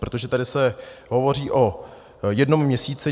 Protože tady se hovoří o jednou měsíci.